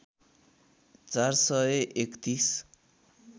४ सय ३१